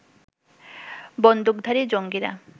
বন্দুকধারী জঙ্গিরা